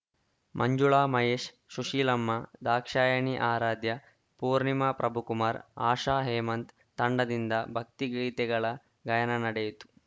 ಮಂಜುಳಾ ಮಹೇಶ್‌ ಸುಶೀಲಮ್ಮ ದಾಕ್ಷಾಯಣಿ ಆರಾಧ್ಯ ಪೂರ್ಣಿಮಾ ಪ್ರಭುಕುಮಾರ್‌ ಆಶಾ ಹೇಮಂತ್‌ ತಂಡದಿಂದ ಭಕ್ತಿಗೀತೆಗಳ ಗಾಯನ ನಡೆಯಿತು